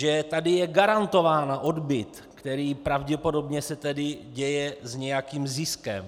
Že tady je garantován odbyt, který pravděpodobně se tedy děje s nějakým ziskem.